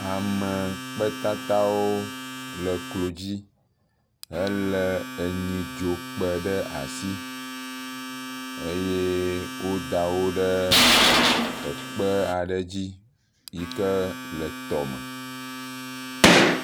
Amekpetatawo le klo dzi helé nyidzokpe ɖe asi eye woda wo ɖe kpe aɖe dzi yi ke le tɔme.